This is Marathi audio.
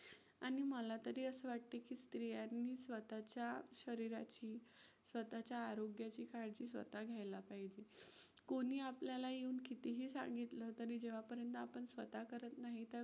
आणि मला तरी असं वाटतं की स्त्रियांनी स्वतःच्या शरीराची, स्वतःच्या आरोग्याची काळजी स्वतः घ्यायला पाहिजे. कोणी आपल्याला येऊन कितीही सांगितलं तरी जेव्हापर्यंत पण स्वतः करत नाही त्या गोष्टी